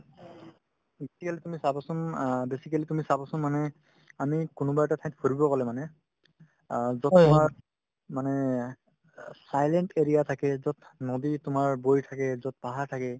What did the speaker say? চাবচোন অ basically তুমি চাবচোন মানে আমি কোনোবা এটা ঠাইত ফুৰিব গ'লে মানে অ য'ত তোমাৰ মানে অ silent area থাকে য'ত নদী তোমাৰ বৈ থাকে য'ত পাহাৰ থাকে